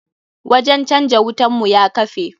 Wajen canja wutan mu ya kafe.